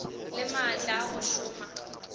le maatla a go šoma